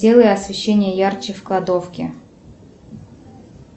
сделай освещение ярче в кладовке